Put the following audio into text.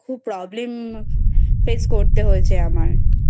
খুব Problem Face করতে হয়েছে আমার